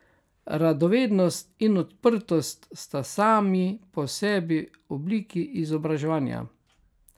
Radovednost in odprtost sta sami po sebi obliki izobraževanja.